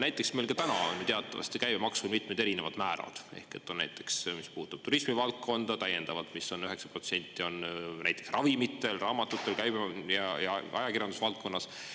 Näiteks meil ka täna on ju teatavasti käibemaksu mitmed erinevad määrad ehk et on näiteks, mis puutub turismivaldkonda, täiendavalt vist on 9%, on näiteks ravimite, raamatute, ….. ja ajakirjanduse valdkonnas.